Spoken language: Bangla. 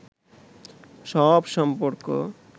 সব সম্পর্ক